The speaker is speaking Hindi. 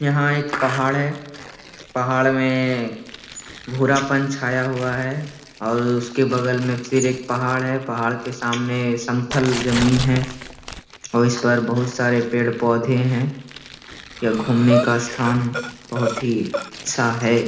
यहाँ एक पहाड़ है पहाड़ मे भूरापन छाया हुआ है और उसके बगल मे फिर एक पहाड़ है पहाड़ के सामने समतल जमीन है और उसपर बहुत सारे पेड़ पौधे है यह घूमने का स्थान बहुत ही अच्छा है।